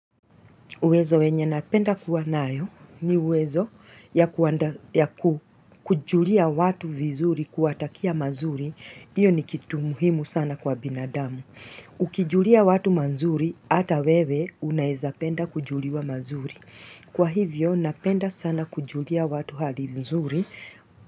Uwezo wenye napenda kuwa nayo ni uwezo ya kujulia watu vizuri kuwatakia mazuri. Iyo ni kitu muhimu sana kwa binadamu. Ukijulia watu mazuri, hata wewe unaweza penda kujuliwa mazuri. Kwa hivyo, napenda sana kujulia watu hali vizuri.